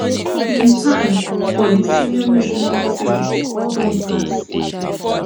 im time for di senior national team don pass